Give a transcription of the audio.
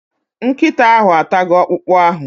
Nkịta ahụ atago okpụkpụ ahụ